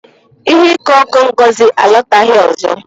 Ihe ọko ọkụ Ngozi alọtaghị ọzọ.